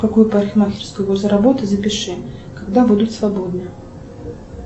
в какую парикмахерскую возле работы запиши когда будут свободны